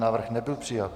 Návrh nebyl přijat.